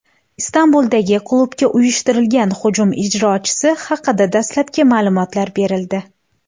Istanbuldagi klubga uyushtirilgan hujum ijrochisi haqida dastlabki ma’lumotlar berildi.